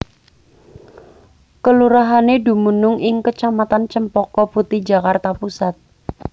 Kelurahané dumunung ing kecamatan Cempaka Putih Jakarta Pusat